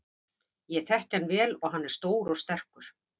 Ég þekki hann vel og hann er stór og sterkur.